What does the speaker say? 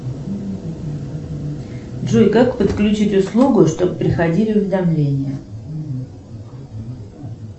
джой как подключить услугу чтоб приходили уведомления